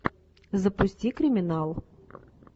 запусти криминал